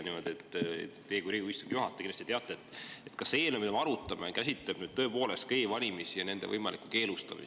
Teie kui Riigikogu istungi juhataja kindlasti teate, kas see eelnõu, mida me arutame, käsitleb tõepoolest ka e‑valimisi ja nende võimalikku keelustamist.